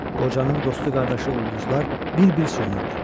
Qocanın dostu qardaşı ulduzlar bir-bir sönürdü.